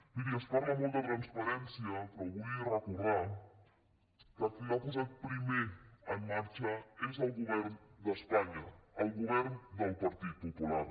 miri es parla molt de transparència però vull recordar que qui l’ha posat primer en marxa és el govern d’espanya el govern del partit popular